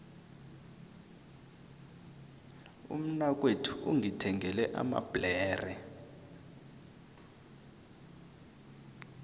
umnakwethu ungithengele amabhlere